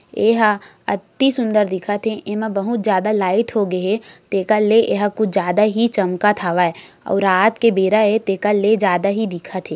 एहा अति सुंदर दिखत हे एमा बहुत ज्यादा लाइट होगे हे तेकर ले एहा कुछ ज्यादा ही चमकत हवै अउ रात के बेरा ए तेकर ले जादा ही दिखत हे।